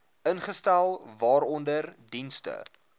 ingestel waaronder dienste